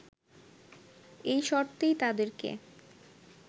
এই শর্তেই তাদেরকে